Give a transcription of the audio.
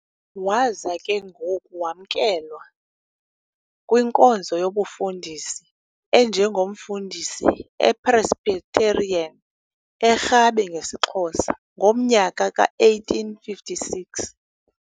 Waza ke ngoku wamkelwa kwinkonzo youbufundisi enjengomfundisi ePresbyterian, e-Rhabe ngesiXhosa, ngomnyaka ka1856.